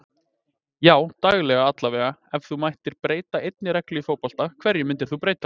Já daglega allavega Ef þú mættir breyta einni reglu í fótbolta, hverju myndir þú breyta?